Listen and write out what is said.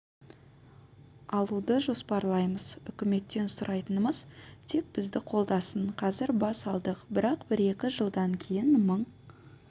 алуды жоспарлаймыз үкіметтен сұрайтынымыз тек бізді қолдасын қазір бас алдық бірақ бір-екі жылдан кейін мың